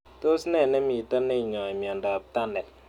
Tos ne nemito neinyoi miondop Tunnel